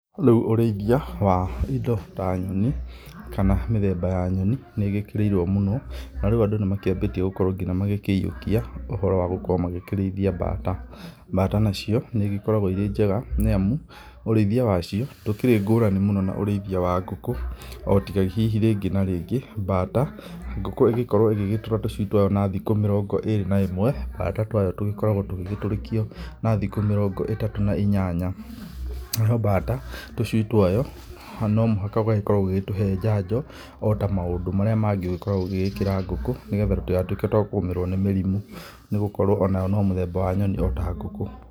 Rĩu ũrĩithia wa indo ta nyoni kana mĩthemba ya nyoni nĩĩgĩkĩrĩirwo mũno, na rĩu andũ nĩmakĩambĩtie nginya kũiyũkia ũhoro wa gũkorwo makĩrĩithia mbata. Mbata nacio nĩigĩkoragwo irĩ njega, nĩ amu ũrĩithia wacio ndũkĩrĩ ngũrani na ũrĩithia wa ngũkũ, o tiga hihi rĩngĩ na rĩngĩ mbata, ngũkũ ĩgĩkorwo ĩgĩtũra tũcui twayo na thikũ mĩrongo ĩrĩ na ĩmwe, mbata twayo tũgĩkoragwo tũgĩtũrĩkio na thikũ mĩrongo ĩtatũ na inyanya. Nayo mbata tũcui twayo no mũhaka ũkorwo ũgĩtũhe njanjo ota maũndũ marĩa mangĩ ũkoragwo ũgĩkĩra ngũkũ, nĩgetha tũtigatuĩke twa kũgũmĩrwo nĩ mĩrimũ, nĩgũkorwo onayo nĩ mũthemba wa nyoni ota ngũkũ.